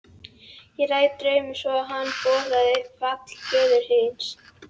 Ég réð drauminn svo að hann boðaði fall föður þíns.